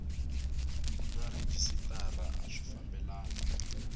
na rhejisitara a swi fambelani